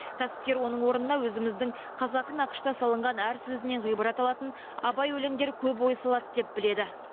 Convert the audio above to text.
кәсіпкер оның орнына өзіміздің қазақы нақышта салынған әр сөзінен ғибрат алатын абай өлеңдері көп ой салады деп біледі